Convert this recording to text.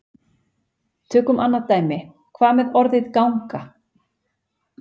Tökum annað dæmi: Hvað með orðið ganga?